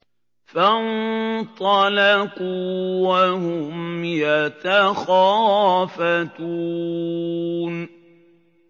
فَانطَلَقُوا وَهُمْ يَتَخَافَتُونَ